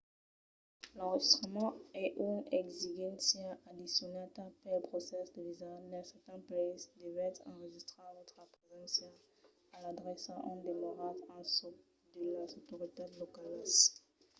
l'enregistrament es une exigéncia addicionala pel procès de visa. dins certans païses devètz enregistrar vòstra preséncia e l'adrèça ont demoratz en çò de las autoritats localas